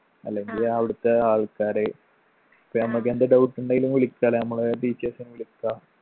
അല്ലെങ്കില് അവിടെത്തെ ആൾക്കാര് ഇപ്പൊ നമ്മക്കെന്ത് doubt ഉണ്ടേലും വിളിക്കാലാ അമ്മളെ teachers നെ വിളിക്കാ